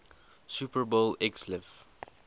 super bowl xliv